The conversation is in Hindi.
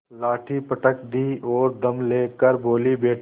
लाठी पटक दी और दम ले कर बोलीबेटा